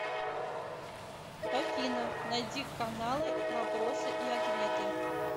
афина найди каналы вопросы и ответы